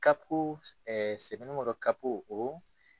CAP ɛɛɛ sɛbɛnIkɔrɔ CAP